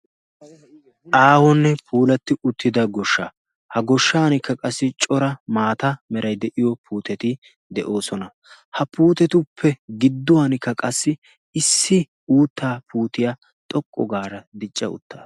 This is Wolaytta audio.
aahonne puulatti uttida goshsha ha goshshankka qassi cora maata meray de'iyo puuteti de'oosona ha puutetuppe gidduwankka qassi issi uuttaa puutiyaa xoqqu gaara dicca uttaa